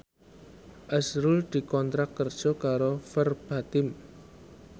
azrul dikontrak kerja karo Verbatim